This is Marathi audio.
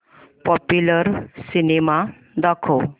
पॉप्युलर सिनेमा दाखव